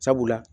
Sabula